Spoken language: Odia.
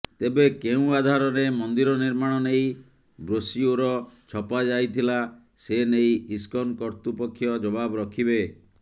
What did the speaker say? ତେବେ କେଉଁ ଆଧାରରେ ମନ୍ଦିର ନିର୍ମାଣ ନେଇ ବ୍ରୋସିଓର ଛପାଯାଇଥିଲା ସେ ନେଇ ଇସ୍କନ କର୍ତ୍ତୃପକ୍ଷ ଜବାବ ରଖିବେ